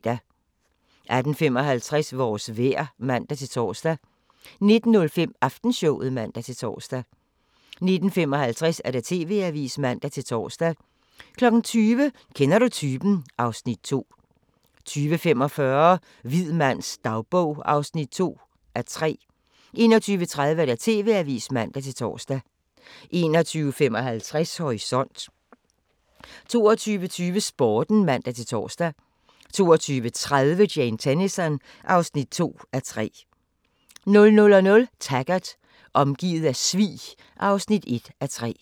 18:55: Vores vejr (man-tor) 19:05: Aftenshowet (man-tor) 19:55: TV-avisen (man-tor) 20:00: Kender du typen? (Afs. 2) 20:45: Hvid mands dagbog (2:3) 21:30: TV-avisen (man-tor) 21:55: Horisont 22:20: Sporten (man-tor) 22:30: Jane Tennison (2:3) 00:00: Taggart: Omgivet af svig (1:3)